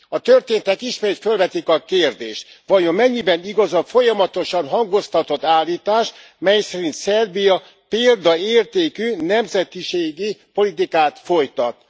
A történtek ismét fölvetik a kérdést vajon mennyiben igaz a folyamatosan hangoztatott állítás, mely szerint Szerbia példaértékű nemzetiségi politikát folytat?